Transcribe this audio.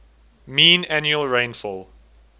mean annual rainfall